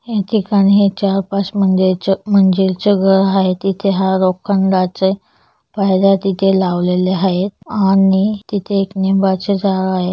इथे ठिकाणीं चार पाच मंजिराच्या मंजिल च घर आहे इथे हा लोखंडाचे पायऱ्या तिथे लावलेल्या आहेत आणि तिथे एक लिंबाचे झाड आहे.